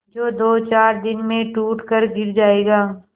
जो दोचार दिन में टूट कर गिर जाएगा